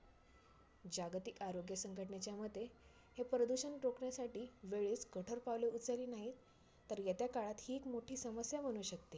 जागतिक आरोग्य संघटनेच्या मते हे प्रदूषण रोखण्यासाठी वेळेत कठोर पाऊले उचलली नाहीत, तर येत्या काळात ही एक मोठी समस्या बनु शकते.